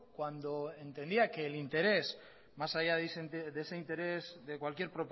cuando entendía que el interés más allá de ese interés de cualquier